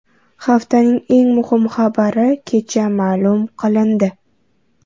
Haftaning eng muhim xabari kecha ma’lum qilindi .